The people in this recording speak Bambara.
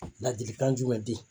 Ladilikan jumɛn di?